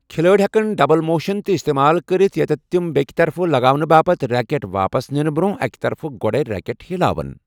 کھلٲڑۍ ہٮ۪کَن double motion تہِ استعمال کٔرِتھ، یتیٚتھ تِم بیٛکہِ طرفہٕ لگاونہٕ باپتھ ریکٹ واپس نِنہٕ برٛونٛہہ اَکہِ طرفہٕ گۄڈٕے ریکٹ ہِلاوَن۔